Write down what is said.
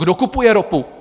Kdo kupuje ropu?